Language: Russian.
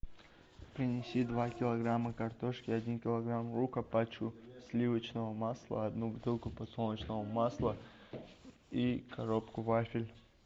принеси два килограмма картошки один килограмм лука пачку сливочного масла одну бутылку подсолнечного масла и коробку вафель